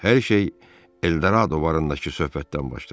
Hər şey El Dorado barındakı söhbətdən başladı.